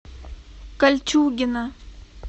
кольчугино